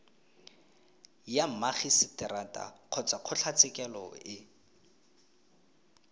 ya magiseterata kgotsa kgotlatshekelo e